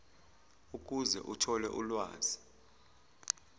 ukuze athole ulwazi